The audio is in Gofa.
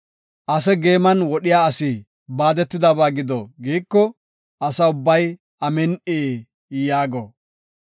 “Ase geeman wodhiya asi baadetidaysa gido” giiko, Asa ubbay, “Amin7i” yaago.